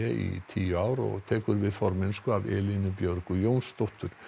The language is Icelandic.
í tíu ár og tekur við formennsku af Elínu Björgu Jónsdóttur